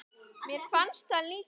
Mér fannst það líka.